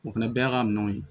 O fana bɛɛ y'a ka minɛnw ye